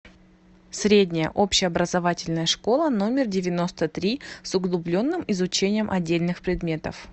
средняя общеобразовательная школа номер девяносто три с углубленным изучением отдельных предметов